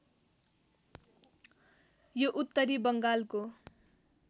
यो उत्तरी बङ्गालको